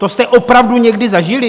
To jste opravdu někdy zažili?